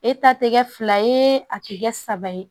E ta te kɛ fila ye a ti kɛ saba ye